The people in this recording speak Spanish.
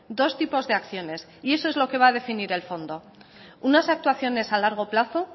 dos tipos de acciones y eso es lo que va a definir el fondo unas actuaciones a largo plazo